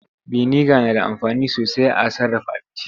Biniga na da amfani sosai a sarraf aabinci.